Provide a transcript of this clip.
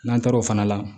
N'an taara o fana la